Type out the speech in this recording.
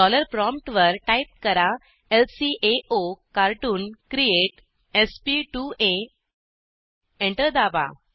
dollar प्रॉम्प्टवर type करा ल्काओकार्टून क्रिएट sp2आ एंटर दाबा